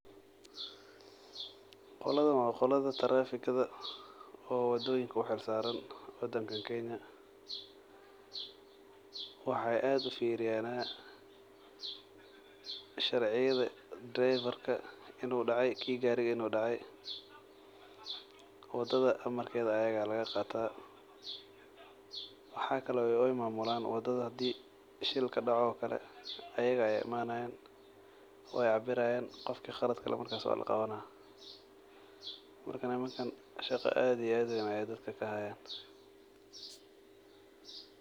Qoladan waa kuwa tarafika oo loo xil saare wadanka kenya waxeey fuiriyan sharciyada inaay daceen ayaga ayaa laga qaata fasax wadada ayaga ayaa mamula shaqa aad iyo aad uweyn ayeey dadka ka haayan.